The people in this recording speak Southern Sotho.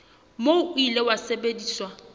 moo o ile wa sebediswa